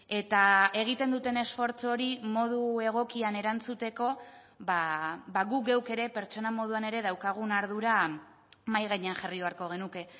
eta egiten duten esfortzu hori modu egokian erantzuteko guk geuk ere pertsona moduan ere daukagun ardura mahai gainean jarri beharko genuke